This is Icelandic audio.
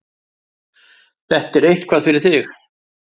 Þetta er eitthvað fyrir þig.